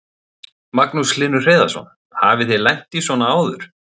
Magnús Hlynur Hreiðarsson: Hafið þið lent í svona áður?